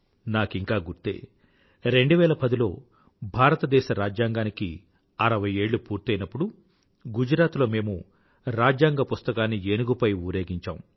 నాకింకా గుర్తే 2010లో భారతదేశ రాజ్యాంగానికి 60ఏళ్ళు పూర్తయినప్పుడు గుజరాత్ లో మేము రాజ్యాంగ పుస్తకాన్ని ఏనుగుపై ఊరేగించాం